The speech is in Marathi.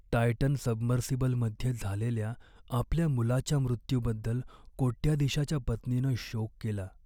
टायटन सबमर्सिबलमध्ये झालेल्या आपल्या मुलाच्या मृत्यूबद्दल कोट्याधीशाच्या पत्नीनं शोक केला.